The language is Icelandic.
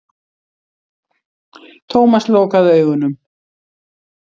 Thomas lokaði augunum.